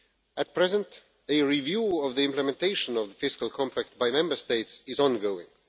At present, a review of the implementation of the fiscal compact by Member States is ongoing.